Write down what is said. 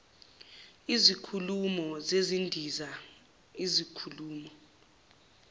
izikhumulo zezindiza izikhulumo